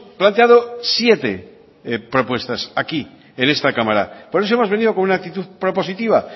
planteado siete propuestas aquí en esta cámara por eso hemos venido con una actitud propositiva